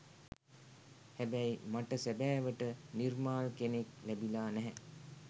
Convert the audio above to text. හැබැයි මට සැබෑවට නිර්මාල් කෙනෙක් ලැබිලා නැහැ.